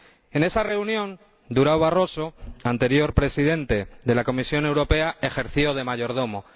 En esa reunión, Durão Barroso, anterior Presidente de la Comisión Europea, ejerció de mayordomo.